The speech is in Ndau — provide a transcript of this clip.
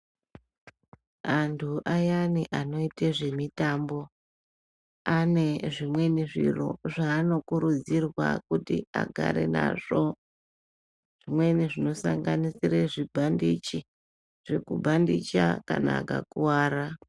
Antu ayani anoite zvemitambo ane zvimweni zviro zvaanokurudzirwa kuti agare nazvo. Zvimweni zvinosanganisire zvibhandechi zvekubhandicha kana akakuvara.